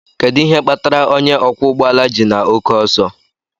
Kedu ihe kpatara onye ọkwọ ụgbọ ala ji na oke ọsọ?